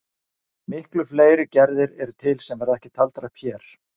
Miklu fleiri gerðir eru til sem verða ekki taldar upp hér.